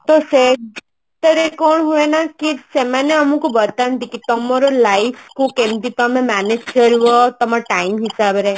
ତ ସେଟା ରେ କଣ ହୁଏ ନା କି ସେମାନେ ଆମକୁ ବତାନ୍ତି କି ତମର life କୁ କେମତି ତମେ manage କରିବ ତମ time ହିସାବରେ